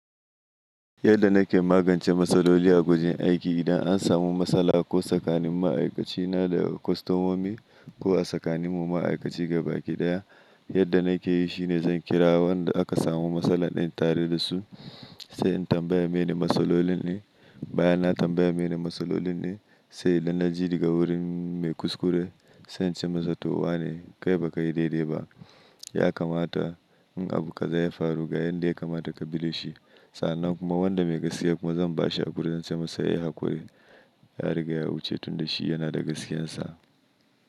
Yadda na ke magance matsaloli a wajen aiki, idan an samu matsala ko tsakanin ma'aikacina da kwastomomi, ko a tsakanin mu ma'aikaci gabaki ɗaya, yadda na ke yi shine zan kira wanda aka samu matsala din tare da su sai in tambaya mene matsalolin ne. Bayan na tambaya mene matsalolin ne sai in lallaji daga wurin mai kuskure, sai in ce masa to wa ne? Kai baka yi daidai ba. Ya kamata in abu ka za ya faru ga yanda ya kamata ka bi dashi. Sannan kuma wanda mai gaskiya kuma zan bashi hauri in ce masa ya yi hakuri, ya riga ya wuce tunda shi yana da gaskiyarsa.